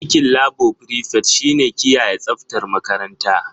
Aikin labo frifet shi ne kiyaye tsaftar makaranta.